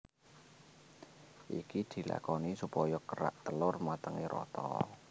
Iki dilakoni supaya kerak telor matenge rata